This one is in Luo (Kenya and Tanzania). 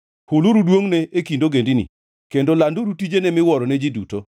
Huluru duongʼne e kind ogendini, kendo landuru tijene miwuoro ne ji duto.